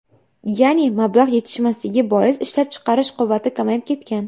Ya’ni mablag‘ yetishmasligi bois, ishlab chiqarish quvvati kamayib ketgan.